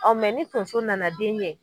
Ɔn ni tonso nana den ɲɛ